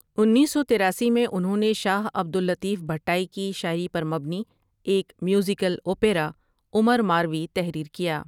انیس سو تراسی میں انہوں شاہ عبد اللطیف بھٹائی کی شاعری پر مبنی ایک میوزیکل اوپیرا عمر ماروی تحریر کیا ۔